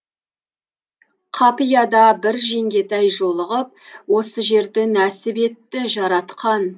қапияда бір жеңгетай жолығып осы жерді нәсіп етті жаратқан